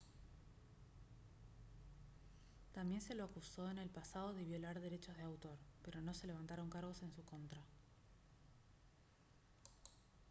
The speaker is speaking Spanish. también se lo acusó en el pasado de violar derechos de autor pero no se levantaron cargos en su contra